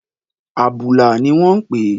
Àbùlà ni wọ́n ń pe